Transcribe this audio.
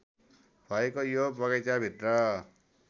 भएको यो बगैंचाभित्र